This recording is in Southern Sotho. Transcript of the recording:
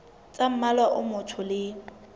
tsa mmala o motsho le